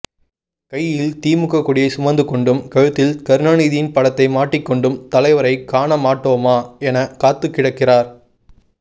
கையில் திமுக கொடியை சுமந்துகொண்டும் கழுத்தில் கருணாநிதியின் படத்தை மாட்டிக்கொண்டும் தலைவரை காணமாட்டோமா என காத்துக்கிடக்கிறார்